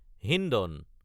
Hindon